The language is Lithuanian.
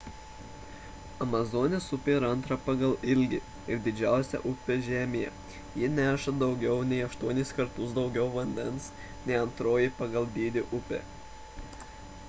amazonės upė yra antra pagal ilgį ir didžiausia upė žemėje ji neša daugiau nei 8 kartus daugiau vandens nei antroji pagal dydį upė